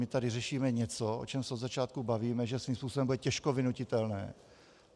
My tady řešíme něco, o čem se od začátku bavíme, že svým způsobem bude těžko vynutitelné.